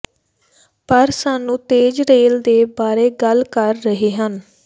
ਪਰ ਸਾਨੂੰ ਤੇਜ਼ ਰੇਲ ਦੇ ਬਾਰੇ ਗੱਲ ਕਰ ਰਹੇ ਹਨ